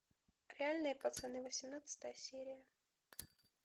реальные пацаны восемнадцатая серия